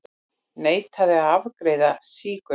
Neitaði að afgreiða sígauna